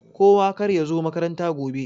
Kowa karya zo makaranta gobe.